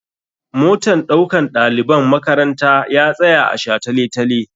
Motan ɗaukan ɗaliban makaranta ya tsaya a shataletale.